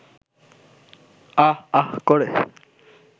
আঃ আঃ করে